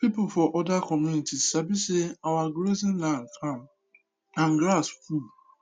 people for other community sabi say our grazing land calm and grass full